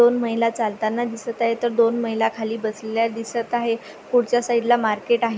दोन माहिला चालताना दिसत आहेत तर दोन माहिला खाली बसलेल्या दिसत आहेत पुढच्या साइडला मार्केट आहे.